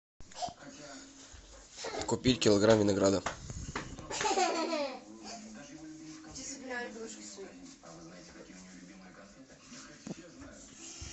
купить килограмм винограда